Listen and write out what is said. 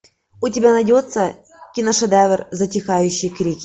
у тебя найдется киношедевр затихающие крики